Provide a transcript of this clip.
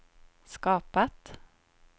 skapat